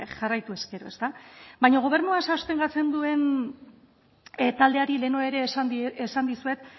jarraitu ezkero ezta baina gobernua sostengatzen duen taldeari lehenago ere esan dizuet